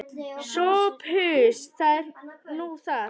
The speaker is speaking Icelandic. SOPHUS: Það er nú það.